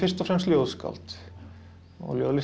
og fremst ljóðskáld og